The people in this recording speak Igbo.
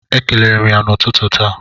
Ekelere m ya n'ụtụtụ taa.